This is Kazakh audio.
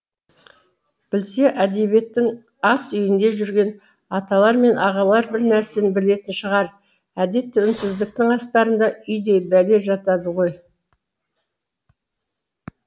білсе әдебиеттің ас үйінде жүрген аталар мен ағалар бірнәрсені білетін шығар әдетте үнсіздіктің астарында үйдей бәле жатады ғой